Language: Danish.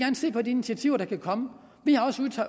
se på de initiativer der kan komme vi har også